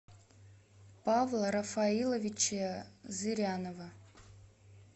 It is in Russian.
павла рафаиловича зырянова